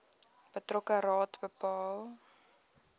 betrokke raad bepaal